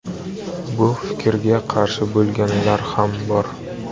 Bu fikrga qarshi bo‘lganlar ham bor.